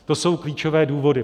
To jsou klíčové důvody.